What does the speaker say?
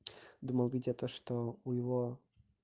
думал видя что у его